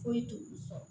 Foyi t'olu sɔrɔ